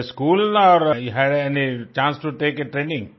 in a school or you have any chance to take a training